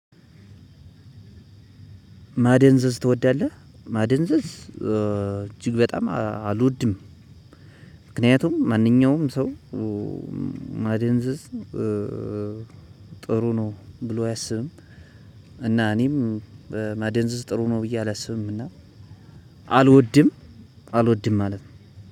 ማደንዘዝ ትወዳለህ? ማደንዘዝ እጅግ በጣም አልወድም ምክንያቱም ማንኛውም ሰው ማደንዘዝ ጥሩ ነው ብሎ አያስብም እና እኔም ማደንዘዝ ጥሩ ነው ብዬ አላስብም እና አልወድም አልወድም ማለት ነው